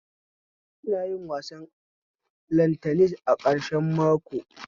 Ina yin wasan lantanis a ƙarshen mako